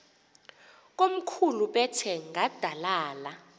komkhulu bethe nqadalala